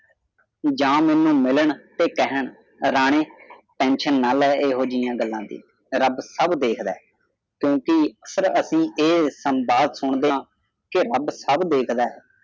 ਜਾਂ ਮੈਨੂੰ ਮਿਲਣ ਤੇ ਕਹਿਣ ਰਾਣੇ tension ਨਾਲ ਲੈ ਏਹੋ ਜਿਹੀਆਂ ਗਲਾਂ ਦੀ ਰੱਬ ਸਭ ਦੇਖਦਾ ਹੈ ਕਿਉਂਕਿ ਸਰਹੱਦੀ ਏਹ ਸੰਵਾਦ ਸੁੰਦਿਆਂ ਕੇ ਰੱਬ ਦੇਖਦਾ ਹੈ